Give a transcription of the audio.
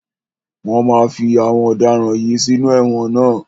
Wọ́n máa fí àwọn ọ̀daràn yìí sínú ẹ̀wọ̀n ná.